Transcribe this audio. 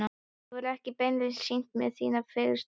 Þú hefur ekki beinlínis sýnt mér þínar fegurstu hliðar.